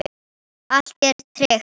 Allt er tryggt.